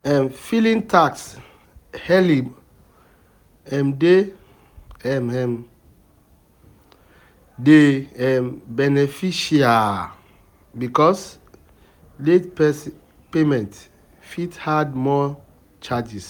um Filing tax early um dey um um dey um beneficial because late payment fit add more charges